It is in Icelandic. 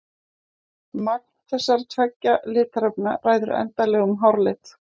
Magn þessara tveggja litarefna ræður endanlegum hárlit.